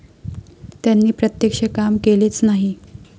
त्यांनी प्रत्यक्ष काम केलेच नाही.